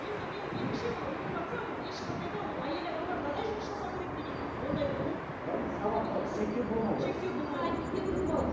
енді менің меніңше ол үлгеріватса ол ешқандай да ол әйел адамға мынадай жұмыс жасау керек деген ондай ұғым шектеу болмау керек